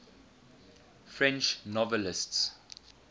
french novelists